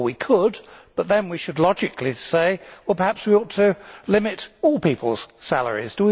Well we could, but then we should logically say that perhaps we ought to limit all people's salaries.